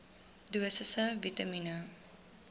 dosisse vitamien